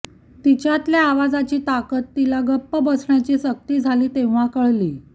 तिच्यातल्या आवाजाची ताकद तिला गप्प बसण्याची सक्ती झाली तेव्हा कळली